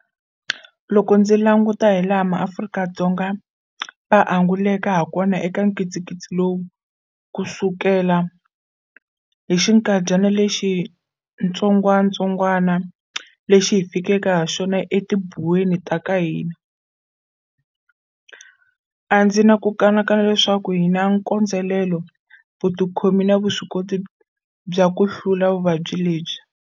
Loko ndzi languta hilaha maAfrika-Dzonga va anguleke hakona eka nkitsinkitsi lowu kusukela hi xikandyana lexi xitsongwatsongwana lexi xi fikeke haxona etibuweni ta ka hina, a ndzi na ku kanakana leswaku hi na nkondzelelo, vutikhomi na vuswikoti bya ku hlula vuvabyi lebyi.